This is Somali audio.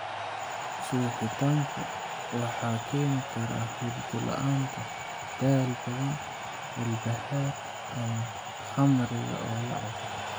Suuxdintu waxa keeni kara hurdo la'aan, daal badan, walbahaar, ama khamriga oo la cabbo.